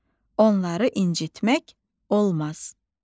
Onları incitmək olmaz.